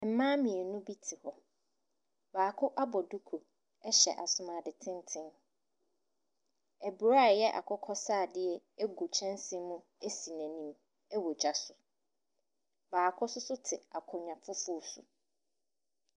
Mmaa mmienu bi te hɔ, baako abɔ duku hyɛ asomuade tenten. Aburo a ɛyɛ akokɔsradeɛ gu kyɛnse mu si n’anim wɔ gya so. Baako nso te akonnwa fufuo so.